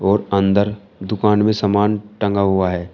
और अंदर दुकान में समान टंगा हुआ है।